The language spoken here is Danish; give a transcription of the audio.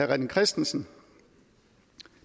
rené christensen